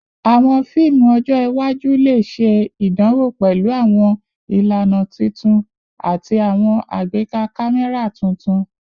Awọn fiimu ọjọ iwaju le ṣe idanwo pẹlu awọn ilana tuntun ati awọn agbeka kamẹra tuntun